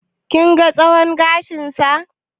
Kun ga tsawon gashinsa?